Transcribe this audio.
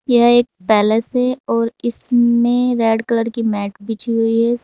यह एक पैलेस है और इसमें रेड कलर की मैट बिछी हुई है।